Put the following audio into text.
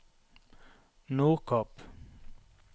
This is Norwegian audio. Nordkapp